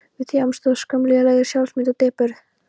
Við þjáumst af skömm, lélegri sjálfsmynd og depurð.